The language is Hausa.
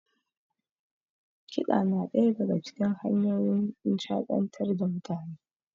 Kiɗa na ɗaya daga cikin hanyoyin nishaɗantar da mutane.